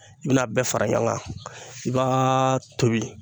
I bina a bɛɛ fara ɲɔgɔn kan, i b'a tobi